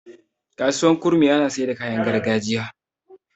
kasuwar kurmi ana Saida kayan gargajiya